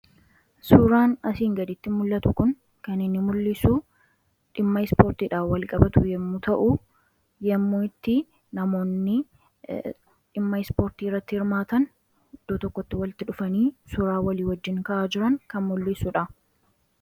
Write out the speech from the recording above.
Suuraan asiin gaditti mul'atu kun kan inni mul'isu dhimma ispoortiidhaan walqabatu yommuu ta'u, yommuu itti namoonni dhimma ispoortii irratti hirmaatan iddoo tokkotti walitti dhufanii suuraa walii wajjin ka'aa jiran kan mul'isu dha.